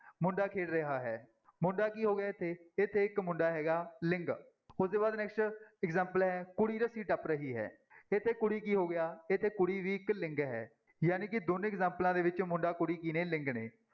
ਮੁੰਡਾ ਖੇਡ ਰਿਹਾ ਹੈ, ਮੁੰਡਾ ਕੀ ਹੋ ਗਿਆ ਇੱਥੇ, ਇੱਥੇ ਇੱਕ ਮੁੰਡਾ ਹੈਗਾ ਲਿੰਗ, ਉਹ ਤੋਂ ਬਾਅਦ next example ਹੈ ਕੁੜੀ ਰੱਸੀ ਟੱਪ ਰਹੀ ਹੈ, ਇੱਥੇ ਕੁੜੀ ਕੀ ਹੋ ਗਿਆ ਇੱਥੇ ਕੁੜੀ ਵੀ ਇੱਕ ਲਿੰਗ ਹੈ, ਜਾਣੀ ਕਿ ਦੋਨੋਂ ਐਗਜਾਮਪਲਾਂ ਦੇ ਵਿੱਚ ਮੁੰਡਾ ਕੁੜੀ ਕੀ ਨੇ ਲਿੰਗ ਨੇ।